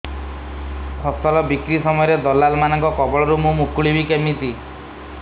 ଫସଲ ବିକ୍ରୀ ସମୟରେ ଦଲାଲ୍ ମାନଙ୍କ କବଳରୁ ମୁଁ ମୁକୁଳିଵି କେମିତି